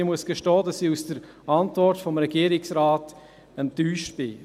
Ich muss gestehen, dass ich von der Antwort des Regierungsrates enttäuscht bin.